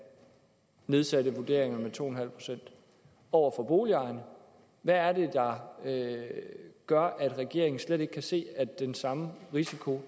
nedsatte vurderingerne med to en halv procent over for boligejerne hvad er det der gør at regeringen slet ikke kan se at den samme risiko